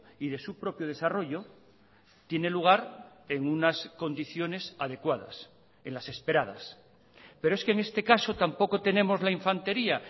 y de su propio desarrollo tiene lugar en unas condiciones adecuadas en las esperadas pero es que en este caso tampoco tenemos la infantería